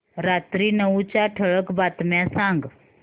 रात्री नऊच्या ठळक बातम्या सांग